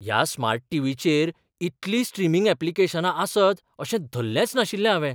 ह्या स्मार्ट टीव्हीचेर इतलीं स्ट्रीमिंग ऍप्लिकेशनां आसत अशें धल्लेंच नाशिल्लें हावें!